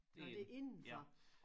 Nåh det indenfor